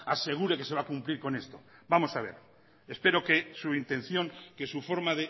asegure que se va a cumplir con esto vamos a ver espero que su intención que su forma